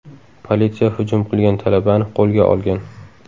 Politsiya hujum qilgan talabani qo‘lga olgan.